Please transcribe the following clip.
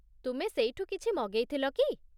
ତୁମେ ସେଇଠୁ କିଛି ମଗେଇ ଥିଲ କି?